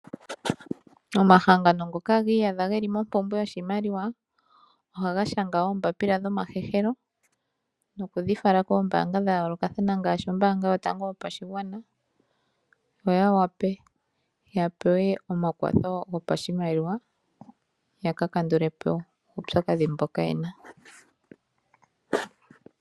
Omahangano ngoka giyadha geli mompumbwe yoshimaliwa ohaga shanga ombapila dhoma hehelo noku dhifala koombanga dhayoloka kathana ngashi ombanga yotango yopashigwana opo yawape ya pewe omakwatho gopa shimaliwa yakakandulepo uupyakadhi mboka yena.